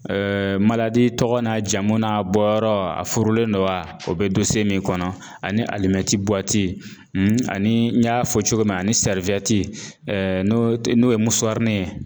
tɔgɔ n'a jamu n'a bɔyɔrɔ a furulen don wa o bɛ min kɔnɔ ani ani n y'a fɔ cogo min ani n'o tɛ n'o ye ye.